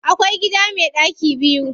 Akwai gida me ɗaki biyu.